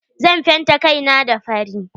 Zan fenta kai na fari.